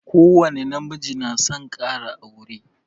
Ko wani na miji na son kara aure